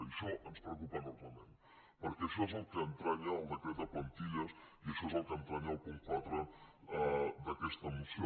i això ens preocupa enormement perquè això és el que entranya el decret de plantilles i això és el que entranya el punt quatre d’aquesta moció